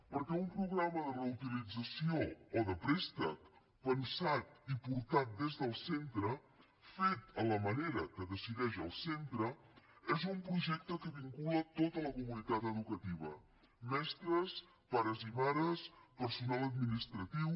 perquè un programa de reutilització o de préstec pensat i portat des del centre fet a la manera que decideix el centre és un projecte que vincula tota la comunitat educativa mestres pares i mares personal administratiu